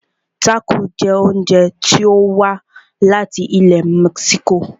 Tácò jẹ oúnjẹ tí o wá láti ilẹ̀ mexico.